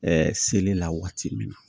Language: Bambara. Ɛɛ seli la waati min